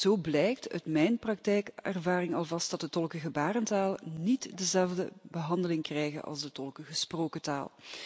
Zo blijkt uit mijn praktijkervaring alvast dat de tolken gebarentaal niet dezelfde behandeling krijgen als de tolken gesproken taal.